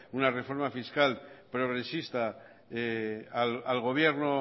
una reforma fiscal progresista al gobierno